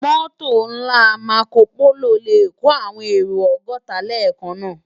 Mòtó nlá Mákópóló lè kó áwòn éró ògòtá lèkán ṣóṣó